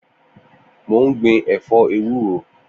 Mó n gbin ẹfọ éwùró